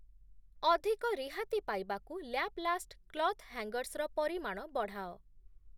ଅଧିକ ରିହାତି ପାଇବାକୁ ଲ୍ୟାପ୍‌ଲାଷ୍ଟ୍‌ କ୍ଲଥ୍ ହ୍ୟାଙ୍ଗର୍‌ସ୍ ର ପରିମାଣ ବଢ଼ାଅ ।